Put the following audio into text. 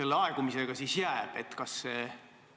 Lõpptähtaeg on vist paigas, aga kuidas aegumisega jääb?